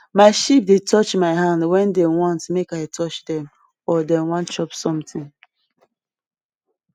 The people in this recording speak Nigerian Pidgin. my sheep dey touch my hand wen dey want make i touch dem or dem wan chop somtin